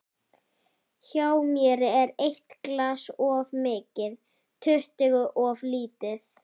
Hjá mér er eitt glas of mikið, tuttugu of lítið.